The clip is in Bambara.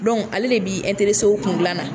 Donc ale de b'i kun dilan na.